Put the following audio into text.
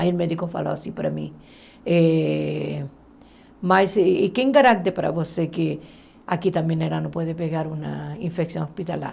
Aí o médico falou assim para mim, eh mas e quem garante para você que aqui também ela não pode pegar uma infecção hospitalar?